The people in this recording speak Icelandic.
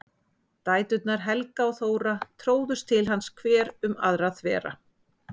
Dæturnar Helga og Þóra tróðust til hans hver um aðra þvera.